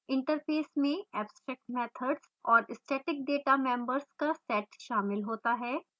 interface में abstract methods और static data members का set शामिल होता है